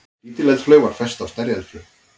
Lítil eldflaug var fest á stærri eldflaug.